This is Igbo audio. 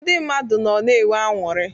Ndị mmadụ nọ na enwe anụrị.